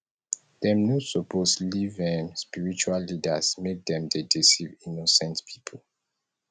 dem no suppose leave um spiritual leaders make dem dey deceive innocent pipo